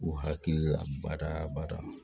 U hakili la bada bada